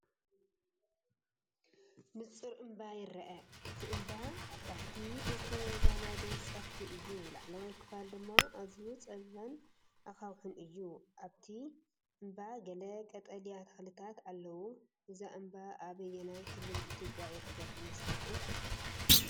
ንጹር እምባ ይርአ። እቲ እምባ ኣብ ታሕቲ ብተዛማዲ ጸፍሒ እዩ፣ ላዕለዋይ ክፋሉ ድማ ኣዝዩ ጸቢብን ኣኻውሕን እዩ። ኣብቲ እምባ ገለ ቀጠልያ ተኽልታት ኣለዉ። እዚ እምባ ኣብ ኣየናይ ክልል ኢትዮጵያ ይርከብ ይመስለኩም?